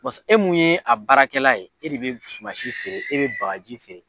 Pasi e mun ye a baarakɛla ye e de bɛ sumansi feere e bɛ bagaji feere.